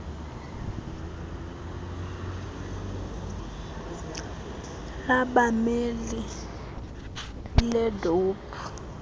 labameli le idp